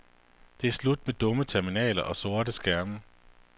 Det er slut med dumme terminaler og sorte skærme.